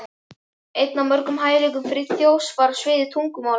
Einn af mörgum hæfileikum Friðþjófs var á sviði tungumála.